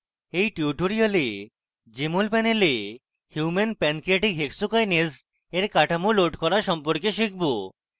in tutorial আমরা jmol panel human pancreatic hexokinase in কাঠামো load করা সম্পর্কে শিখব